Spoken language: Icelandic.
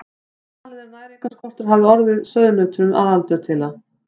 Talið er að næringarskortur hafi orðið sauðnautunum að aldurtila.